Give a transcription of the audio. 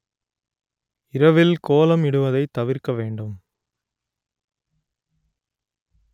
இரவில் கோலமிடுவதைத் தவிர்க்க வேண்டும்